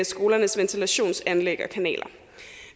skolernes ventilationsanlæg og kanaler